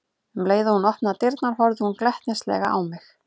Um leið og hún opnaði dyrnar horfði hún glettnislega á mig.